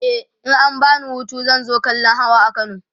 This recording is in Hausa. e in an bani Hutu zan zo kallan Hawa a kano